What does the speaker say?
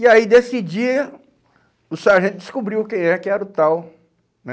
E aí, desse dia, o sargento descobriu quem é que era o tal, né?